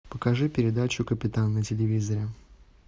покажи передачу капитан на телевизоре